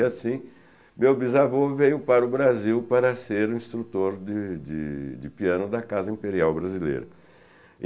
E assim, meu bisavô veio para o Brasil para ser um instrutor de de de piano da Casa Imperial Brasileira.